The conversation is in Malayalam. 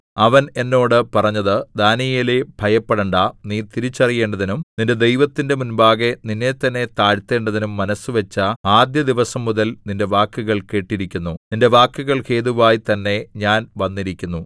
അവൻ എന്നോട് പറഞ്ഞത് ദാനീയേലേ ഭയപ്പെടേണ്ടാ നീ തിരിച്ചറിയേണ്ടതിനും നിന്റെ ദൈവത്തിന്റെ മുമ്പാകെ നിന്നെത്തന്നെ താഴ്ത്തേണ്ടതിനും മനസ്സുവച്ച ആദ്യ ദിവസംമുതൽ നിന്റെ വാക്കുകൾ കേട്ടിരിക്കുന്നു നിന്റെ വാക്കുകൾ ഹേതുവായി തന്നെ ഞാൻ വന്നിരിക്കുന്നു